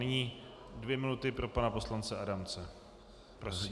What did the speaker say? Nyní dvě minuty pro pana poslance Adamce.